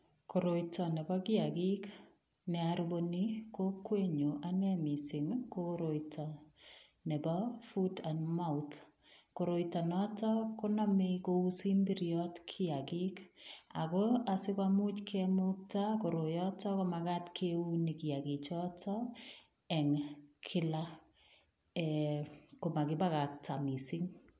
Koroito nebo kiakik ne arubuani kokwenyu anne mising ii, ko koroito nebo foot and mouth. Koroito noto konamei kou simbiriot kiakik ago sigemuch kimukta koroiyoto ko magat keuni kiakichoto eng kila ee komakibakakta mising.